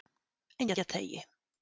Engjateigi